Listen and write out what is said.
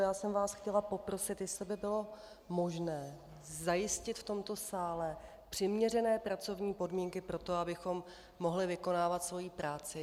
Já jsem vás chtěla poprosit, jestli by bylo možné zajistit v tomto sále přiměřené pracovní podmínky pro to, abychom mohli vykonávat svoji práci.